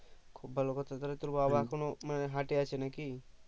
খুব ভালো কথা তাহলে তোর বাবা এখনো মানে হাটে আছে নাকি